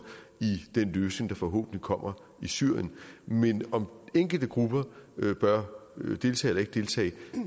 i den løsning der forhåbentlig kommer i syrien men om enkelte grupper bør deltage eller ikke deltage